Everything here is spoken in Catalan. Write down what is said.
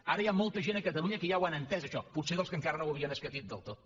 ara hi ha molta gent a catalunya que ja ho han entès això potser dels que encara no ho havien escatit del tot